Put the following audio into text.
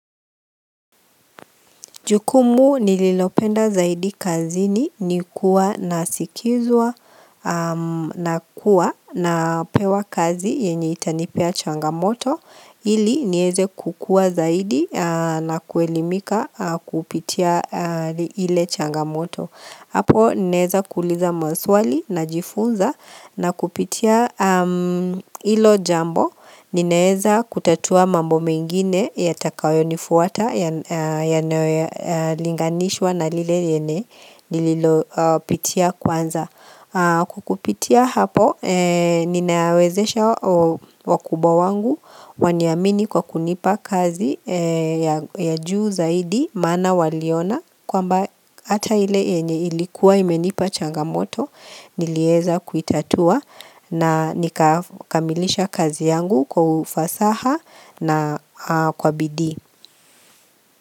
Jukumu nililopenda zaidi kazini ni kuwa na sikizwa na kuwa na pewa kazi yenye itanipea changamoto ili nieze kukua zaidi na kuelimika kupitia ile changamoto. Hapo naeza kuuliza maswali na jifunza na kupitia ilo jambo ninaeza kutatua mambo mengine ya takayo nifuata ya linganishwa na lile yenye nililopitia kwanza. Kwa kupitia hapo ninawezesha wakubwa wangu waniamini kwa kunipa kazi ya juu zaidi maana waliona kwamba ata ile enye ilikuwa imenipa changamoto nilieza kuitatua na nikakamilisha kazi yangu kwa ufasaha na kwa bidii.